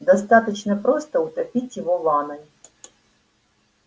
достаточно просто утопить его в ванной